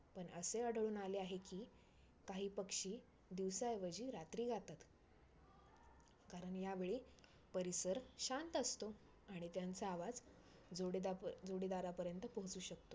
असे आढळून आले आहे की काही पक्षी दिवसा ऐवजी रात्री गातात. कारण या वेळी परिसर शांत असतो आणि त्यांचा आवाज जोडेदा प जोडीदारा पर्यंत पोहचू शकतो.